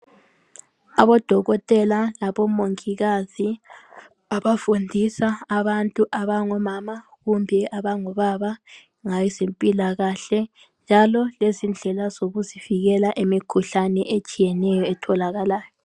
Abodokotela labomongikazi abafundisa abantu abangomama kumbe abongobaba ngezempilakahle njalo lezindlela zokuzivikela emikhuhlane etshiyeneyo etholakalayo.